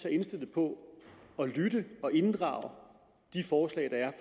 indstillet på at lytte og inddrage de forslag der er